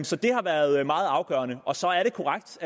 så det har været meget afgørende og så er det korrekt